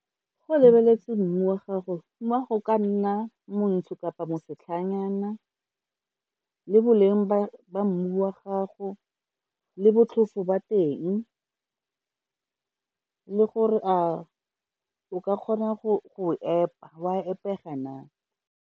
Go o lebeletse mmu wa gago, mmu wa gago ka nna montsho kapa mosetlhanyana, le boleng ba mmu wa gago le botlhofo ba teng, le gore o ka kgona go epa wa epega na.